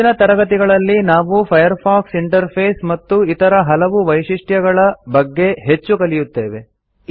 ಮುಂದಿನ ತರಗತಿಗಳಲ್ಲಿ ನಾವು ಫೈರ್ಫಾಕ್ಸ್ ಇಂಟರ್ಫೇಸ್ ಮತ್ತು ಇತರ ಹಲವು ವೈಶಿಷ್ಟ್ಯಗಳ ಬಗ್ಗೆ ಹೆಚ್ಚು ಕಲಿಯುತ್ತೇವೆ